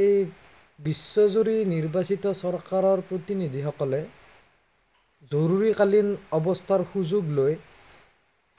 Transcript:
এই বিশ্বজুৰি নিৰ্বাচিত চৰকাৰৰ প্ৰতিনিধি সকলে জৰুৰীকালীন অৱস্থাৰ সুযোগ লৈ